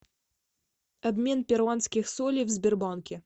обмен перуанских солей в сбербанке